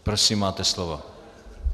Prosím, máte slovo.